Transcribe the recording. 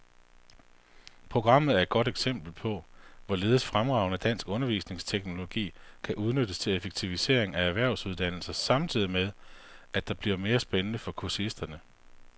Programmet er et godt eksempel på, hvorledes fremragende dansk undervisningsteknologi kan udnyttes til effektivisering af erhvervsuddannelser samtidig med, at det bliver mere spændende for kursisterne.